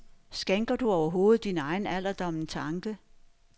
Skænker du overhovedet din egen alderdom en tanke?